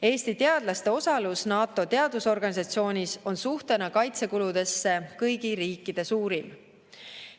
Eesti teadlaste osalus NATO teadusorganisatsioonis on suhtena kaitsekuludesse kõigi riikide suurim.